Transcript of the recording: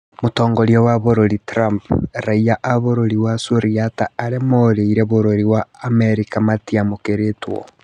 Mũtongoria wa bũrũri Trump: Raiya a bũrũri wa Suriata arĩa morĩire Bũrũri wa Amerika matiamũkĩrĩtwo